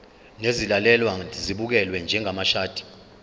nezilalelwa zibukelwe njengamashadi